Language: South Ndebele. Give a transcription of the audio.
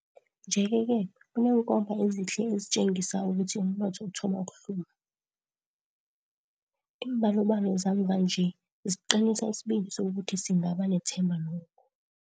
Nje-ke kuneenkomba ezihle ezitje ngisa ukuthi umnotho uthoma ukuhluma. Iimbalobalo zamva nje zisiqinisa isibindi sokuthi singaba nethemba nokho.